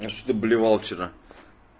а что ты блевал вчера